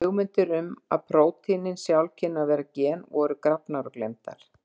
Hugmyndir um að prótínin sjálf kynnu að vera gen voru grafnar og gleymdar.